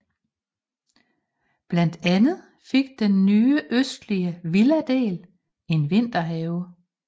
Blandt andet fik den nye østlige villadel en vinterhave